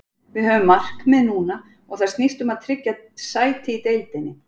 Við höfum markmið núna og það snýst um að tryggja sæti í deild.